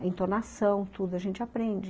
a entonação, tudo, a gente aprende.